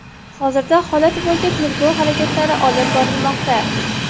Hozirda holat bo‘yicha tergov harakatlari olib borilmoqda.